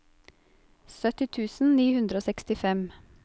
sytti tusen ni hundre og sekstifem